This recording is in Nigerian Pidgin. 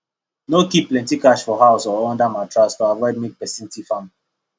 no keep plenty cash for house or under mattress to avoid make person thief am